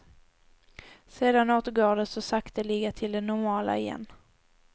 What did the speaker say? Sedan återgår de så sakteliga till det normala igen.